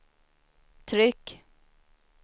tryck